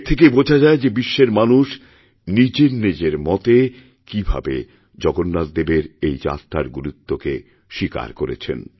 এর থেকেই বোঝা যায় যে বিশ্বের মানুষ নিজের নিজের মতেকীভাবে জগন্নাথদেবের এই যাত্রার গুরুত্বকে স্বীকার করেছেন